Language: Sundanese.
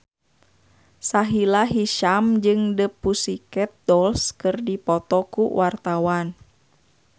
Sahila Hisyam jeung The Pussycat Dolls keur dipoto ku wartawan